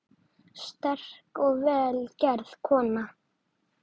Sterk og vel gerð kona.